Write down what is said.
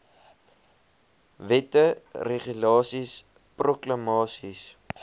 wette regulasies proklamasies